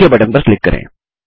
okay button पर click करें